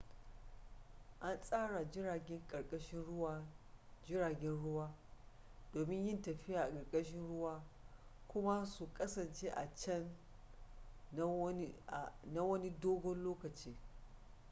an tsara jiragen ƙarkashin ruwa jiragen ruwa domin yin tafiya a ƙarkashin ruwa kuma su kasance a can na wani dogon lokaci